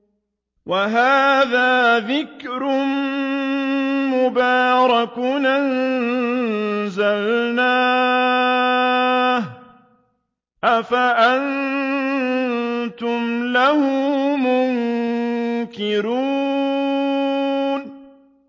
وَهَٰذَا ذِكْرٌ مُّبَارَكٌ أَنزَلْنَاهُ ۚ أَفَأَنتُمْ لَهُ مُنكِرُونَ